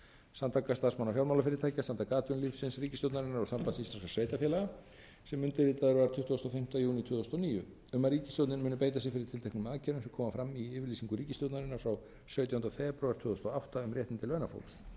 samtaka starfsmanna fjármálafyrirtækja samtaka atvinnulífsins ríkisstjórnarinnar og sambands íslenskra sveitarfélaga sem undirritaður var tuttugasta og fimmta júní tvö þúsund og níu um að ríkisstjórnin muni beita sér fyrir tilteknum aðgerðum sem koma fram í yfirlýsingu ríkisstjórnarinnar frá sautjándu febrúar tvö þúsund og